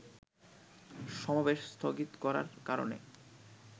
সমাবেশ স্থগিত করার কারণে